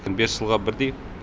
бес жылға бірдей